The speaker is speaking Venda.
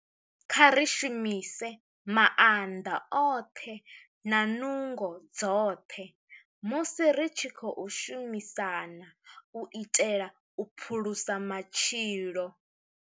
Kha ri shumise maanḓa oṱhe na nungo dzoṱhe musi ri tshi khou shumisana u itela u phulusa matshilo.